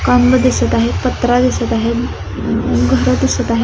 Kong दिसत आहे पत्रा दिसत आहे घरं दिसत आहे--